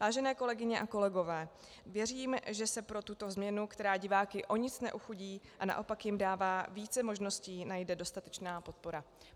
Vážené kolegyně a kolegové, věřím, že se pro tuto změnu, která diváky o nic neochudí a naopak jim dává více možností, najde dostatečná podpora.